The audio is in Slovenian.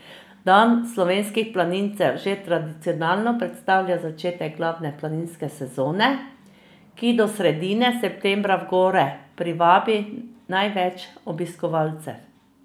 Dan slovenskih planincev že tradicionalno predstavlja začetek glavne planinske sezone, ki do sredine septembra v gore privabi največ obiskovalcev.